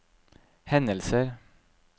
hendelser